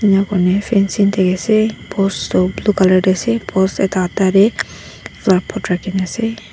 enya kurne fencing dikhi ase post toh blue colour deh ase post ekta aadha teh flower pot rakhina ase.